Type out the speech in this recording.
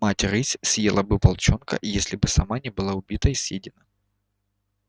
мать рысь съела бы волчонка если бы сама не была убита и съедена